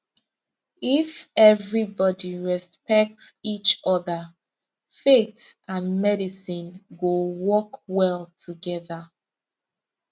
if everybody respect each other faith and medicine go work well together